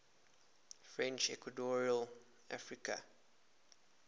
french equatorial africa